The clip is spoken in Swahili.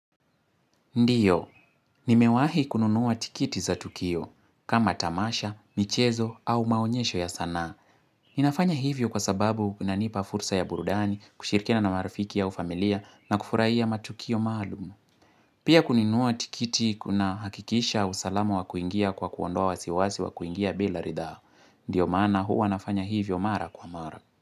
Ndio, nimewahi kununua tikiti za Tukio, kama tamasha, michezo, au maonyesho ya sanaa. Inafanya hivyo kwa sababu inanipa fursa ya burudani kushirikina na marafiki au familia na kufuraia matukio maalum Pia kununua tikiti kuna hakikisha usalama wa kuingia kwa kuondoa wasiwasi wa kuingia bila ridhaa. Ndio maana hua nafanya hivyo mara kwa mara.